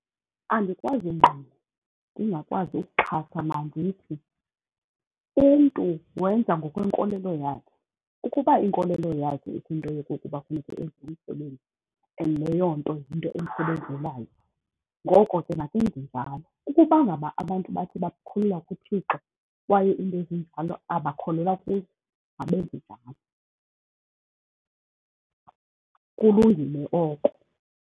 Andikwazi ungqina, ndingakwazi ukuxhasa, mandithi umntu wenza ngokwenkolelo yakhe. Ukuba inkolelo yakhe ithi into yokokuba funeke enze umsebenzi and leyo nto yinto emsebenzelayo, ngoko ke makenze njalo. Ukuba ngaba abantu bathi bakholelwa kuThixo kwaye iinto ezinjalo abakholelwa kuzo, mabenze njalo, kulungile oko.